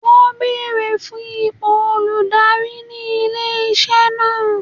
Wọn beere fun ipo oludari ni ile-iṣẹ naa.